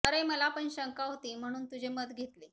अरे मला पण शंका होती म्हणून तुझे मत घेतले